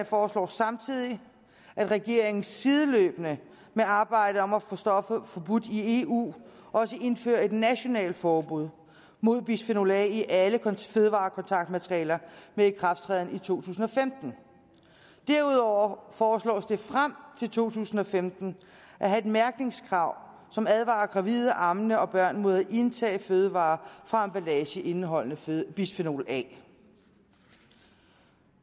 foreslår samtidig at regeringen sideløbende med arbejdet om at få stoffet forbudt i eu også indfører et nationalt forbud mod bisfenol a i alle fødevarekontaktmaterialer med ikrafttræden i to tusind og femten derudover foreslås det frem til to tusind og femten at have et mærkningskrav som advarer gravide ammende og børn mod at indtage fødevarer fra emballage indeholdende bisfenol a